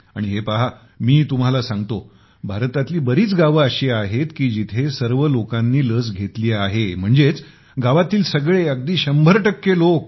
आणि हे पहा मी तुम्हाला सांगतो भारतातील बरीच गावे अशी आहेत की जेथे सर्व लोकांना लस मिळाली आहे म्हणजेच गावातील सगळे अगदी शंभर टक्के लोक